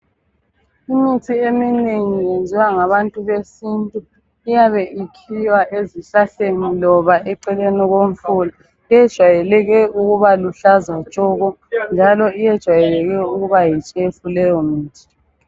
Imithi eminengi yenziwa ngabantu besintu. Iyabe ikhiwa ezihlahleni loba eceleni komfula. Yejwayeleke ukuba luhlaza tshoko njalo yejwayeleke ukuba yitshefu leyomithi.